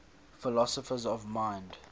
philosophers of mind